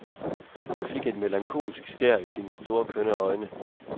Hun fik et melankolsk skær i sine store, kønne øjne.